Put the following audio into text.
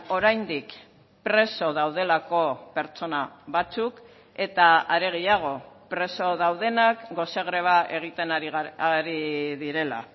oraindik preso daudelako pertsona batzuk eta are gehiago preso daudenak gose greba egiten ari direla